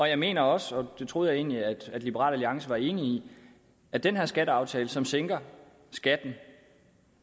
jeg mener også og det troede jeg egentlig at liberal alliance var enig i at den her skatteaftale som sænker skatten